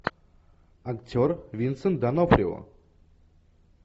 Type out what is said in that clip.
актер винсент д онофрио